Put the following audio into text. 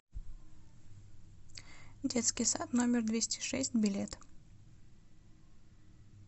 детский сад номер двести шесть билет